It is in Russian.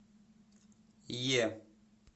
е